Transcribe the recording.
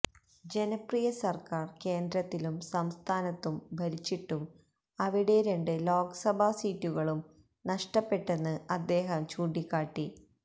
ജനപ്രിയ സര്ക്കാര് കേന്ദ്രത്തിലും സംസ്ഥാനത്തും ഭരിച്ചിട്ടും അവിടെ രണ്ട് ലോക്സഭാ സീറ്റുകളും നഷ്ടപ്പെട്ടെന്ന് അദ്ദേഹം ചൂണ്ടിക്കാട്ടി